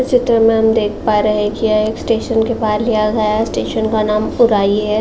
इस चित्र में हम देख पा रहे हैं कि यह स्टेशन के पार लिया गया है। स्टेशन का नाम है।